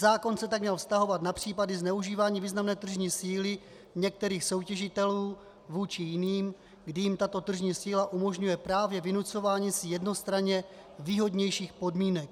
Zákon se tak měl vztahovat na případy zneužívání významné tržní síly některých soutěžitelů vůči jiným, kdy jim tato tržní síla umožňuje právě vynucování si jednostranně výhodnějších podmínek.